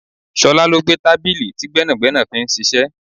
Ṣọlá ló gbé tábìlì tí gbẹ́nàgbẹ́nà fi ń ṣiṣẹ́.